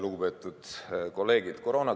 Lugupeetud kolleegid!